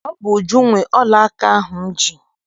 Ọ bụ Uju nwe ọla aka ahụ m ji.